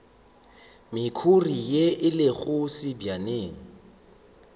mekhuri ye e lego sebjaneng